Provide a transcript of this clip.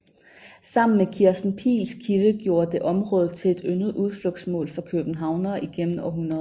Sammen med Kirsten Piils kilde gjorde det området til et yndet udflugtsmål for københavnere igennem århundreder